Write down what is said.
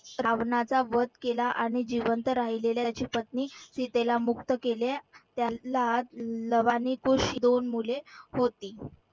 रावणाचा वध केला. आणि जिवंत राहिलेल्याची पत्नी सीतेला मुक्त केले. त्याला लव आणि कुश दोन मुले होती.